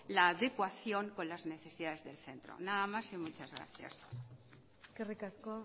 la adecuación con las necesidades del centro nada más y muchas gracias eskerrik asko